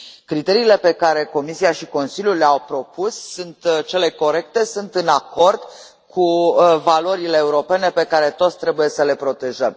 Criteriile pe care Comisia și Consiliul le au propus sunt cele corecte, sunt în acord cu valorile europene pe care toți trebuie să le protejăm.